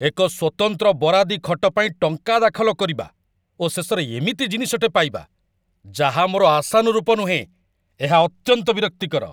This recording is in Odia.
ଏକ ସ୍ୱତନ୍ତ୍ର ବରାଦୀ ଖଟ ପାଇଁ ଟଙ୍କା ଦାଖଲ କରିବା ଓ ଶେଷରେ ଏମିତି ଜିନିଷଟେ ପାଇବା, ଯାହା ମୋର ଆଶାନୁରୂପ ନୁହେଁ, ଏହା ଅତ୍ୟନ୍ତ ବିରକ୍ତିକର।